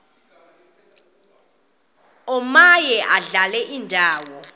omaye adlale indawo